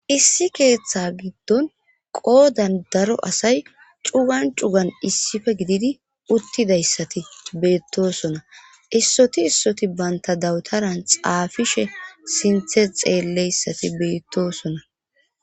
issi keeththa giddon qoodan daro asay cugan cugan issife gididi uttidayssati beettosona issoti issoti banta dawutaran xaafishe sinthe xeelleyssati beettosona